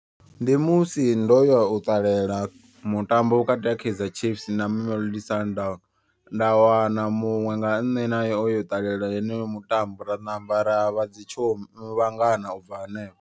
Ndi musi ndoya u ṱalela mutambo vhukati ha Kaizer chiefs na Mamelodi sundown. Nda wana muṅwe nga nṋe naye oyo ṱalela heneyo mutambo ra ṋamba ra vha dzi tsho vhangana ubva hanefho.